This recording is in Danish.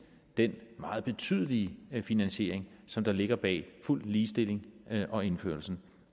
den meget betydelige finansiering som der ligger bag fuld ligestilling og indførelsen